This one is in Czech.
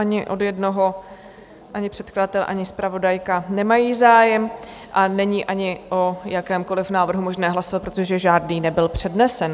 Ani od jednoho, ani předkladatel, ani zpravodajka nemají zájem a není ani o jakémkoliv návrhu možné hlasovat, protože žádný nebyl přednesen.